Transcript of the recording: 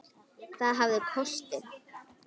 Það hafði kosti.